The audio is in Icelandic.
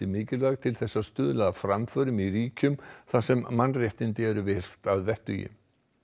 mikilvæg til þess að stuðla að framförum í ríkjum þar sem mannréttindi eru virt að vettugi